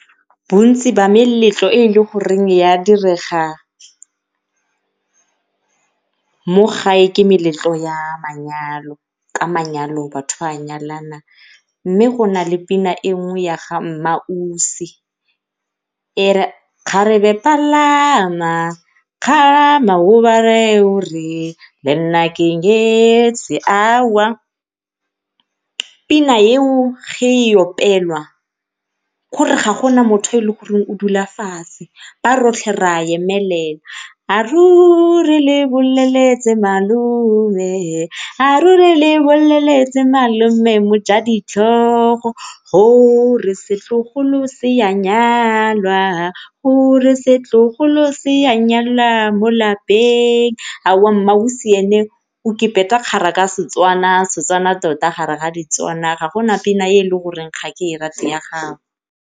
Bontsi ba meletlo e e le goreng ya direga mo gae ke meletlo ya manyalo, ka manyalo batho ba nyalana mme go nale pina e nngwe ya ga mmaAusi e re kgarebe palama o ba reye o re lenna ke nyetswe pina eo ge e opelwa k'ore ga gona motho yo e leng gore o dula fatshe ba rotlhe re a emelela. A ruri le boleletse malome, a ruri le boleletse malome mo ja ditlhogo gore setlogolo se a nyalwa, gore setlogolo se a nyalwa mo lapeng. mmaAusi ene o kgara ka Setswana, Setswana tota gare ga diTswana ga gona pina e e le goreng ga ke e rate ya gagwe.